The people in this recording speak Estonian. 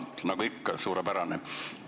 Nagu ikka, on see suurepärane.